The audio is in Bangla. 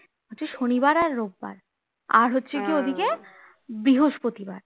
শনিবার আর রবিবার আর হচ্ছে গিয়ে ঐদিকে বৃহস্পতিবার